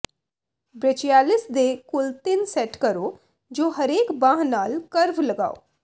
brachialis ਦੇ ਕੁੱਲ ਤਿੰਨ ਸੈੱਟ ਕਰੋ ਜੋ ਹਰੇਕ ਬਾਂਹ ਨਾਲ ਕਰਵ ਲਗਾਓ